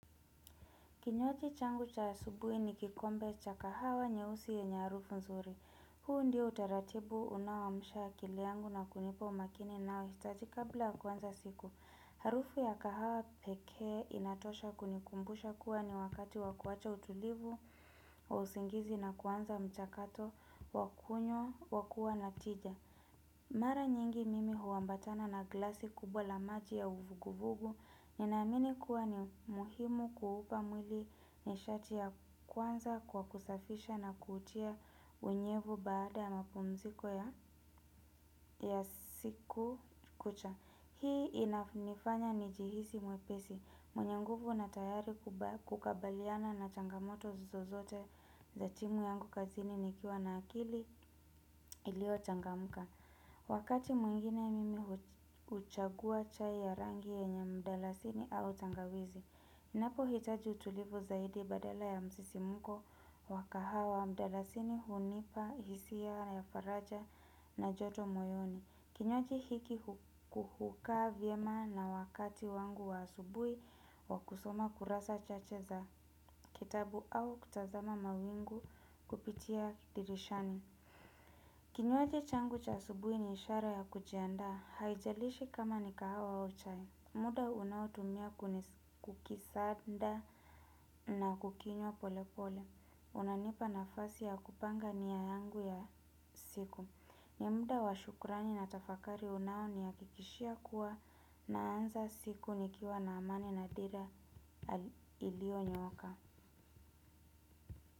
Kinywaji changu cha asubuhi ni kikombe cha kahawa nyeusi yenye harufu nzuri. Huu ndio utaratibu unaoamsha akili yangu na kunipa umakini ninaohitaji kabla kuanza siku. Harufu ya kahawa pekee inatosha kunikumbusha kuwa ni wakati wa kuacha utulivu wa usingizi na kuanza mchakato wa kunywa wa kua na tija. Mara nyingi mimi huambatana na glasi kubwa la maji ya uvuguvugu, ninamini kuwa ni muhimu kuupa mwili nishati ya kwanza kwa kusafisha na kutia unyevu baada ya mapumziko ya siku kucha. Hii inafanya nijihisi mwepesi, mwenye nguvu na tayari kukabiliana na changamoto zozote za timu yangu kazini nikiwa na akili iliyo changamka. Wakati mwingine mimi huchagua chai ya rangi yenye mdalasini au tangawizi ninapo hitaji utulivu zaidi badala ya msisimko wa kahawa mdalasini hunipa hisia ya faraja na joto moyoni. Kinywaji hiki hukaa vyema na wakati wangu wa asubuhi wa kusoma kurasa chache za kitabu au kutazama mawingu kupitia dirishani. Kinywaji changu cha asubuhi ni ishara ya kujiandaa haijalishi kama ni kahawa au chai. Muda unaotumia kukisanda na kukinywa pole pole. Unanipa nafasi ya kupanga nia yangu ya siku. Ni muda wa shukurani na tafakari unao ni hakikishia kuwa naanza siku nikiwa na amani na dira iliyo nyoka.